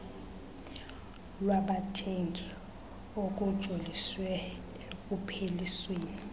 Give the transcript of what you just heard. lwabathengi okujoliswe ekuphelisweni